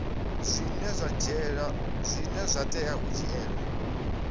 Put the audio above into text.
zwine zwa tea u dzhielwa